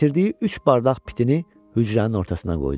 Gətirdiyi üç badraq pitini hücrənin ortasına qoydu.